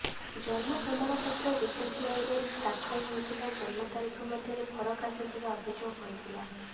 ଜନ୍ମ ପ୍ରମାଣପତ୍ର ଓ ବିସିସିଆଇରେ ଦାଖଲ ହୋଇଥିବା ଜନ୍ମ ତାରିଖ ମଧ୍ୟରେ ଫରକ ଆସୁଥିବା ଅଭିଯୋଗ ହୋଇଥିଲା